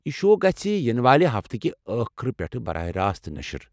یہ شو گژھہِ ینہٕ والہِ ہفتہٕ کہ ٲخرٕ پٮ۪ٹھہٕ براہ راست نشر۔